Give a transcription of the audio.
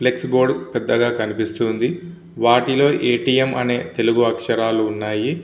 Flex board పెద్దగా కనిపిస్తూ వుంది. వాటిలో ఎ. టి. ఎం. అని తెలుగు ఆకాశారాళ్ళు ఉన్నాయ్.